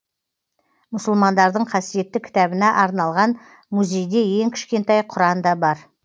мұсылмандардың қасиетті кітабына арналған музейде ең кішкентай құран да бар